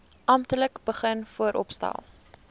amptelik begin vooropstel